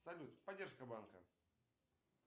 салют поддержка банка